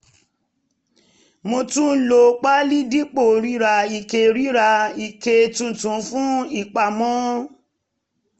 mo tún lo páálí dípò rira ike rira ike tuntun fún ìpamọ́